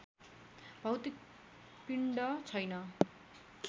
भौतिक पिण्ड छैन